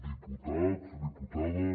diputats diputades